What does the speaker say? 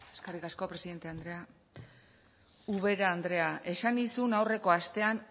eskerrik asko presidente andrea ubera andrea esan nizun aurreko astean